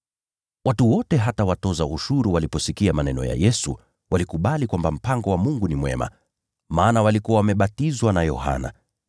(Watu wote hata watoza ushuru waliposikia maneno ya Yesu, walikubali kwamba mpango wa Mungu ni haki, maana walikuwa wamebatizwa na Yohana.